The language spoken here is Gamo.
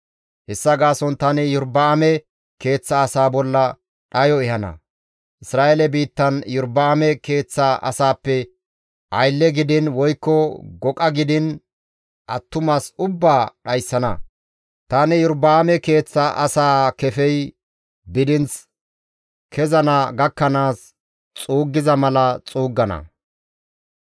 « ‹Hessa gaason tani Iyorba7aame keeththa asaa bolla dhayo ehana. Isra7eele biittan Iyorba7aame keeththa asaappe aylle gidiin woykko goqa gidiin, attumas ubbaa dhayssana; tani Iyorba7aame keeththa asaa kefey bidinth kezana gakkanaas xuuggiza mala xuuggana.